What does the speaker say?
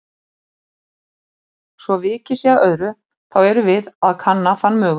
Svo vikið sé að öðru, þá erum við að kanna þann mögu